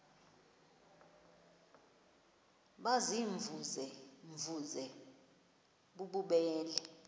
baziimvuze mvuze bububele